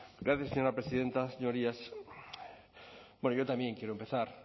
gracias señora presidenta señorías bueno yo también quiero empezar